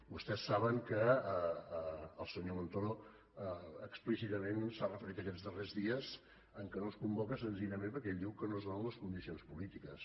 vostès saben que el senyor montoro explícitament s’ha referit aquests darrers dies al fet que no es convoca senzillament perquè ell diu que no es donen les condicions polítiques